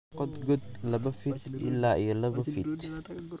Qod god laba fit ila iyo laba fit.